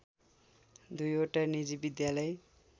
दुईवटा निजी विद्यालय